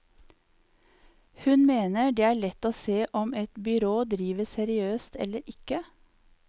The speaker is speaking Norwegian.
Hun mener det er lett å se om et byrå driver seriøst eller ikke.